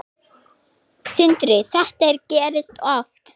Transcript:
Sindri: Þetta gerist oft?